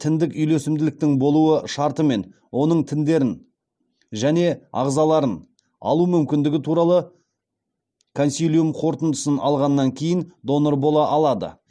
тіндік үйлесімділіктің болуы шартымен оның тіндерін және ағзаларын алу мүмкіндігі туралы консилиум қорытындысын алғаннан кейін донор бола алады